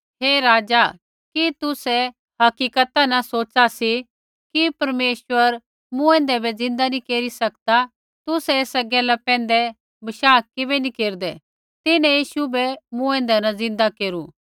हे राजा कि तुसै हकीकता न सोच़ा सी कि परमेश्वर मूँऐंदै बै ज़िन्दा नी केरी सकदा तुसै एस गैला पैंधै बशाह किबै नी केरदै तिन्हैं यीशु बै मूँऐंदै न ज़िन्दा केरू